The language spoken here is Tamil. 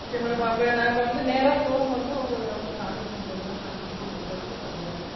Okay madam. அப்ப நான் இப்ப நேரா showroom வந்து உங்கள contact பண்றேன் madam. நான் வந்து உங்கள்ட்ட வந்து, நான் direct ஆ